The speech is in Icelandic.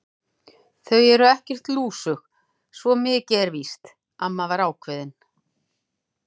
Þau eru ekkert lúsug, svo mikið er víst amma var ákveðin.